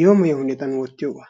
yeemoyiya hanotan oottiyogaa.